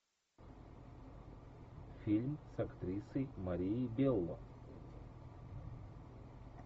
фильм с актрисой марией белло